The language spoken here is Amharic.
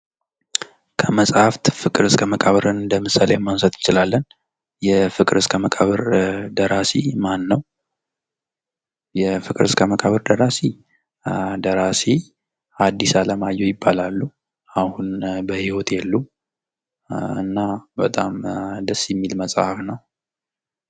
ከመፅሀፍት ፍቅር እስከ መቃብርን እንደ ምሳሌ ማንሳት እንችላለን። የፍቅር እስከ መቃብር ደራሲ ማን ነዉ? የፍቅር እስከ መቃብር ደራሲ ደራሲ ሀዲስ አለማየሁ ይባላሉ። አሁን በህይወት የሉም። እና በጣም ደስ የሚል መፅሀፍ ነዉ።